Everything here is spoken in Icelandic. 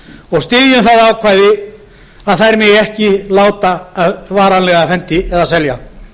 og styðjum það ákvæði að þær megi ekki láta varanlega af hendi eða selja